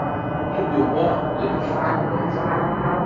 Tudi oba letošnja zmagovalca.